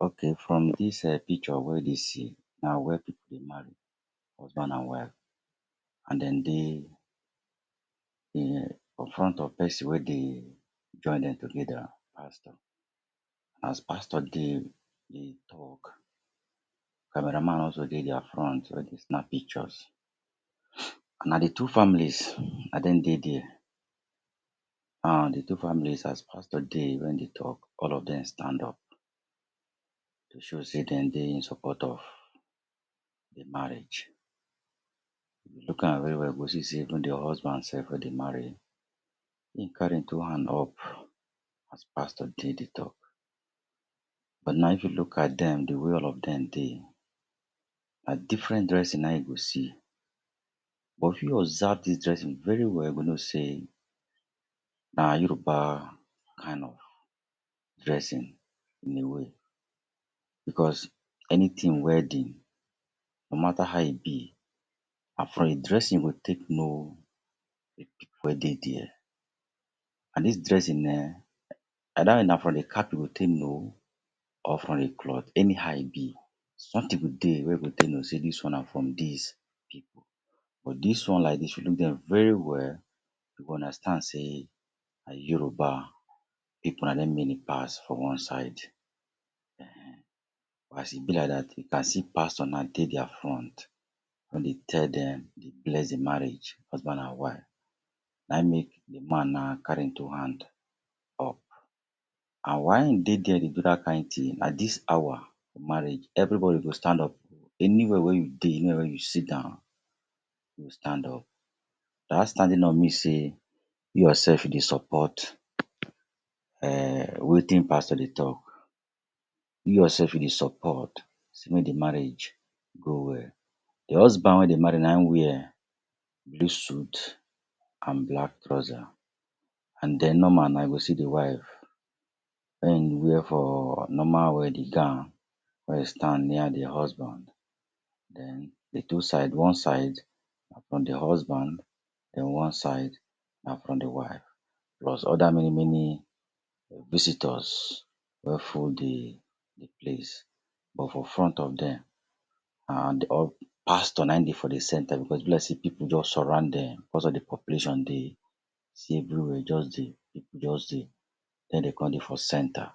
Okay. From dis um picture wey dey see, na where pipu dey marry, husband and wife. And dem dey front of person wey dey join dem together pastor As pastor dey dey talk, camera man also dey their front wey dey snap pictures. Na de two families na dem dey there. um de two families as pastor dey wey dey talk, all of dem stand up to show sey dem dey in support of de marriage. If you look am well well you go see sey even de husband self wey dey marry, e carry im two hand up as pastor dey dey talk. But now, if you look at dem de way all of dem dey, na different dressing na you go see. But if you observe dis dressing very well, you go know sey na Yoruba kind of dressing dem dey wear. Because anything wedding, no matter how e be, na from de dressing you go take know de pipu wey dey there. And dis dressing um, na from de cap you go take know or from de cloth. Anyhow e be, something go dey wey you go take know sey dis one na from dis pipu. But, dis one like dis if you look dem very well, you go understand sey na Yoruba pipu na dem many pass for one side. Ehen. As e be like that, you can see pastor na dey their front, don dey tell dem, dey bless de marriage, husband and wife. Na e make de man now carry im two hand up. And why e dey there dey do that kind thing, na dis hour for marriage everybody go stand up. Anywhere wey you dey, anywhere wey you sit down, you go stand up. That standing up mean sey you yourself dey support um wetin pastor dey talk. You yourself you dey support sey make de marriage go well. De husband wey dey marry na in wear blue suit and black trouser. And then, normal na you go see de wife wear for normal wedding gown, wey e stand near de husband. Then de two side, one side na from de husband then one side na from de wife. Plus other many many visitors wey full de de place. But, for front of dem and pastor na dey for de centre because e be like sey pipu just surround dem because of de population dey see everywhere just dey, pipu just dey. Then, dem come dey for centre.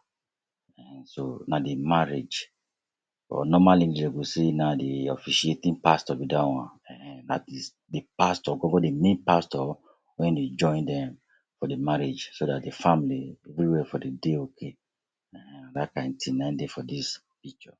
Ehen so, na de marriage. But, normally dem go say na de officiating pastor be that one. Ehen, na de de pastor gon gon de main pastor wey dey join dem for de marriage so that de family everywhere for dey dey okay. Ehen na that kind thing na dey for dis picture.